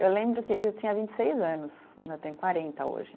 Eu lembro que eu tinha vinte e seis anos, eu tenho quarenta hoje.